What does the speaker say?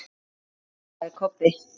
másaði Kobbi.